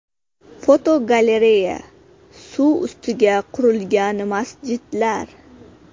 Fotogalereya: Suv ustiga qurilgan masjidlar.